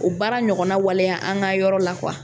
O baara ɲɔgɔnna waleya an ka yɔrɔ la